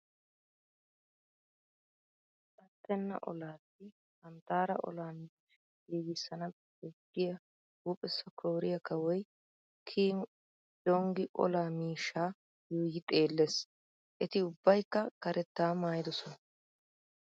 Attenna olaassi hanttaara olaa miishshaa gigissana bessees giya huuphessa Kooriya kawoy Kim Jonggi olaa miishshaa yuuyi xeellees. Eti ubbaykka karettaa maayidosona.